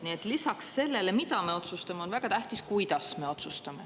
Nii et lisaks sellele, mida me otsustame, on väga tähtis, kuidas me otsustame.